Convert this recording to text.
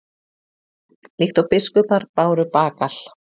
Líkt og biskupar báru bagal?